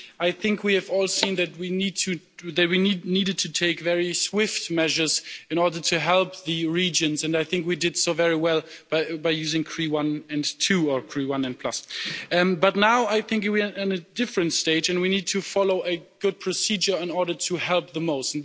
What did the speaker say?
I think we have all seen that we needed to take very swift measures in order to help the regions, and I think we did so very well by using three one and two, or three one and plus. But now I think we are in a different stage and we need to follow a good procedure in order to help the most.